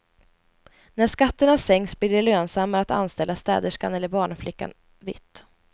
När skatterna sänks blir det lönsammare att anställa städerskan eller barnflickan vitt.